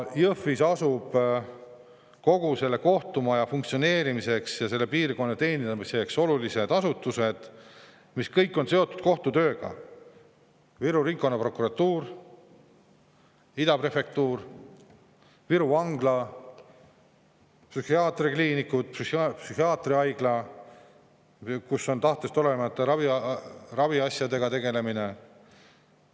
Jõhvis asuvad kogu selle kohtumaja funktsioneerimiseks ja selle piirkonna teenindamiseks olulised asutused, mis kõik on seotud kohtu tööga: Viru Ringkonnaprokuratuur, Ida prefektuur, Viru Vangla, psühhiaatriakliinikud, psühhiaatriahaigla, kus tegeldakse tahtest olenematu raviga.